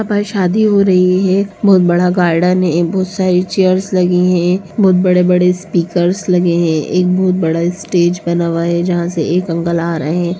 यहाँ पर शादी हो रही है। बहुत बड़ा गार्डेन है ए बहुत सारी चेयर्स लगे हैं। बहुत बड़े-बड़े स्पीकर्स लगे है। एक बहुत बड़ा स्टेज बना हुआ है। जहा से एक अंकल आ रहे--